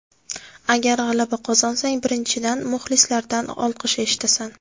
Agar g‘alaba qozonsang, birinchidan, muxlislardan olqish eshitasan.